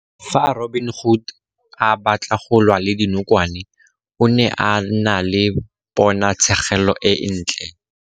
Fa Robin-Hood a batla go lwa le dinokwane, o ne a na le ponatshêgêlô e ntlê.